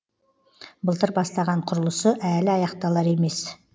былтыр бастаған құрылысы әлі аяқталар емес